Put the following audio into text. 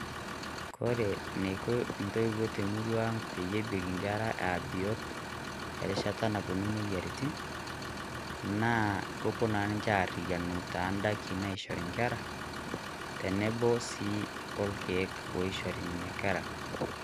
Kore neiko intoiwuo te murrua peyie ebik inkerra ee abiot erishata naponu imoyiarritin, naa kopoo naa ninchee ariyianu taa ndaakin naishoree inkerra tenebo si oo lkeek naishoree nenia inkerra.